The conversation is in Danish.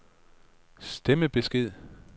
stemmebesked